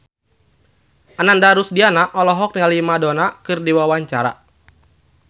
Ananda Rusdiana olohok ningali Madonna keur diwawancara